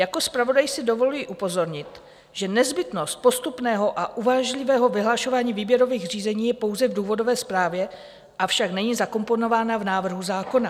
Jako zpravodaj si dovoluji upozornit, že nezbytnost postupného a uvážlivého vyhlašování výběrových řízení je pouze v důvodové zprávě, avšak není zakomponována v návrhu zákona.